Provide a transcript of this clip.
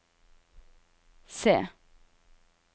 C